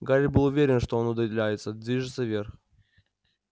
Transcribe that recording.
гарри был уверен что он удаляется движется вверх